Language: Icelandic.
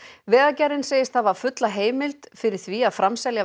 vegagerðin segist hafa fulla heimild fyrir því að framselja